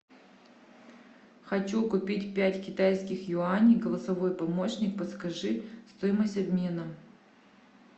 хочу купить пять китайских юаней голосовой помощник подскажи стоимость обмена